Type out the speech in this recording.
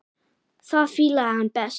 Það fílaði hann best.